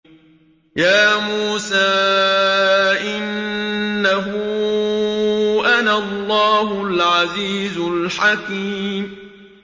يَا مُوسَىٰ إِنَّهُ أَنَا اللَّهُ الْعَزِيزُ الْحَكِيمُ